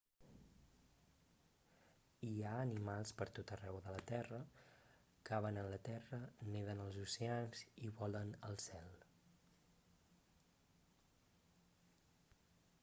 hi ha animals per tot arreu de la terra caven en la terra neden als oceans i volen al cel